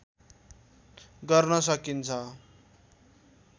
गर्न सकिन्छ